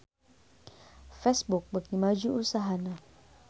Facebook beuki maju usahana